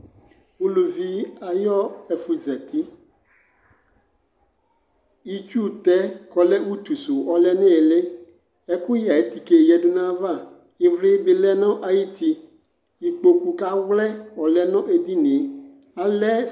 Uluvi ayu ɛfuzati itsu tɛ kɔlɛ utu su ɔlɛ nu ili ɛkuyɛ ayu tike yadu nayava ivli bi lɛ nu ayuti ikpoku ka wlɛ ɔlɛ nu edinie alɛ